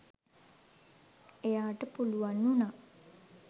එයාට පුළුවන් වුණා.